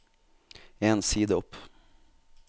En side opp